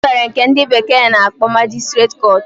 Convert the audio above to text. Enwere nke ndi bekee na-akpo magistrate court.